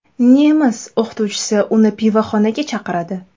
Nemis o‘qituvchisi uni pivoxonaga chaqiradi.